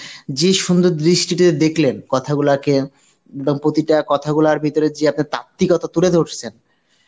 যে সুন্দর দৃষ্টিতে দেখলেন কথাগুলাকে বা প্রতিটা কথাগুলোর ভিতরে যে আপনার তাত্ত্বিকতা তুলে ধরসেন